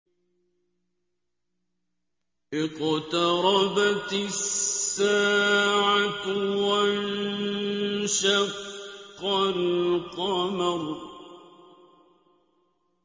اقْتَرَبَتِ السَّاعَةُ وَانشَقَّ الْقَمَرُ